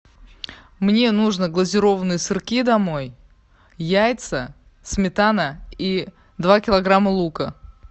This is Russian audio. мне нужно глазированные сырки домой яйца сметана и два килограмма лука